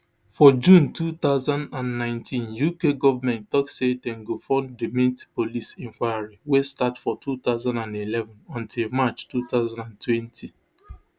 for june two thousand and nineteen uk government tok say dem gofunddimet police inquiry wey start for two thousand and eleven until march two thousand and twenty